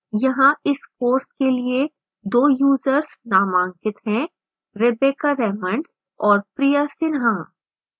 यहाँ इस course के लिए 2 यूजर्स नामांकित हैंrebecca raymond और priya sinha